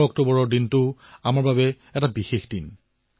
১১ অক্টোবৰৰ দিনটোও আমাৰ বাবে এক বিশেষ দিন